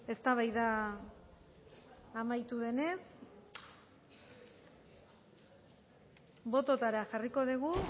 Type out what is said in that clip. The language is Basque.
eztabaida amaitu denez bototara jarriko dugu